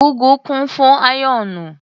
.Ugwu kún fún áyọ́nù.